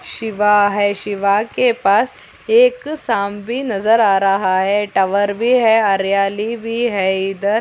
शिवा है शिवा के पास एक शाम भी नजर आ रहा है टावर भी है हरियाली भी है इधर --